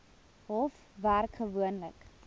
hof werk gewoonlik